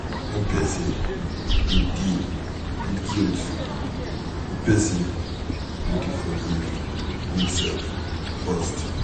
When person dey deal with guilt, di person need to forgive im self first